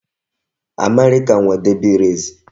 America nwe Derby race